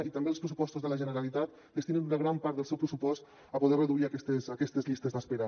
i també els pressupostos de la generalitat destinen una gran part del seu pressupost a poder reduir aquestes llistes d’espera